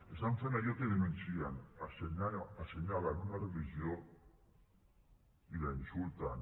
estan fent allò que denuncien assenyalen una religió i la insulten